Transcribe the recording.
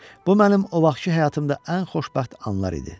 Bu mənim o vaxtkı həyatımda ən xoşbəxt anlar idi.